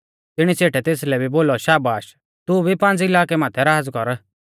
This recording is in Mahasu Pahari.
तिणी सेठै तेसलै भी बोलौ शाबाश तू भी पांज़ इलाकै माथै राज़ कर